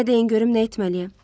Mənə deyin görüm nə etməliyəm?